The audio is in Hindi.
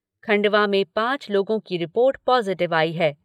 खंडवा में पाँच लोगों की रिपोर्ट पॉज़िटिव आई है।